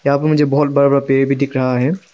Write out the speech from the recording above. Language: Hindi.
यहां पे मुझे बहुत बड़ा बड़ा पेड़ भी दिख रहा है।